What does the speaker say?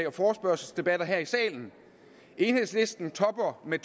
er forespørgselsdebatter her i salen enhedslisten topper med